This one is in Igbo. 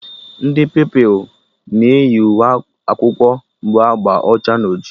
Ndị Pupilụ na eyi uwe akwụkwọ bụ agba ọcha na ojii